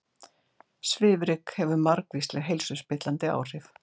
Svifryk hefur margvísleg heilsuspillandi áhrif